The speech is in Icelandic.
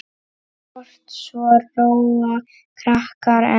Kort svo róa krakkar enn.